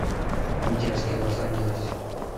дерзкий лос анджелес